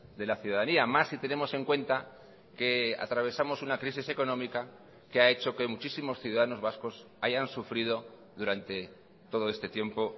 de la ciudadanía más si tenemos en cuenta que atravesamos una crisis económica que ha hecho que muchísimos ciudadanos vascos hayan sufrido durante todo este tiempo